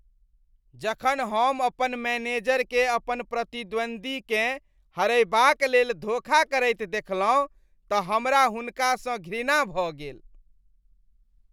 जखन हम अपन मैनेजरकेँ अपन प्रतिद्वन्दीकेँ हरयबाक लेल धोखा करैत देखलहुँ तऽ हमरा हुनकासँ घृणा भऽ गेल।